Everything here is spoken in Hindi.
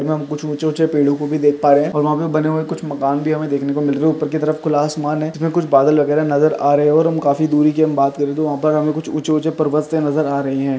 हम कुछ ऊचे ऊचे पेड़ो को भी देख पा रहे हैं और वहाँ पे बने हुए कुछ मकान भी हमे देखने को मिल रहे| ऊपर की तरफ खुला आसमान है उसमे कुछ बादल वगैरा नजर आ रहे और हम काफी दूरी की बात करे तो वहाँ पे हमें कुछ ऊचे ऊचे पर्वत नजर आ रहे हैं।